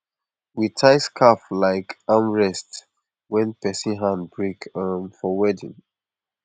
we tie scarf like arm rest when person hand break um for weeding